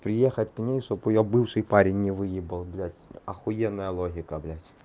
приехать к ней чтобы её бывший парень не выебал блядь ахуеная логика блядь